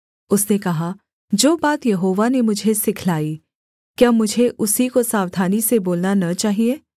उसने कहा जो बात यहोवा ने मुझे सिखलाई क्या मुझे उसी को सावधानी से बोलना न चाहिये